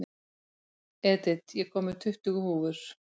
Edith, ég kom með tuttugu húfur!